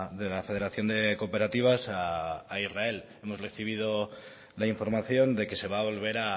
de la federación de cooperativas a israel hemos recibido la información de que se va a volver